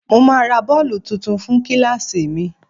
Mo máa ra bọ́ọ̀lù tuntun fún kíláàsì mi